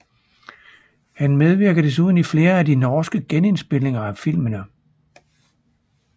Han medvirker desuden i flere af de norske genindspilninger af filmene